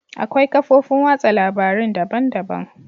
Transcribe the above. Akwai kafofin watsa labarun daban-daban.